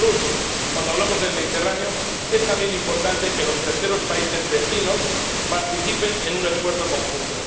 Y, por último, cuando hablamos del Mediterráneo es también importante que los terceros países vecinos participen en un esfuerzo conjunto.